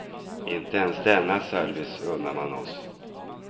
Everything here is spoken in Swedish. Inte ens denna service unnar man oss.